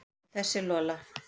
Og þessa Lola.